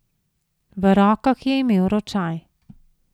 V rokah je imel ročaj.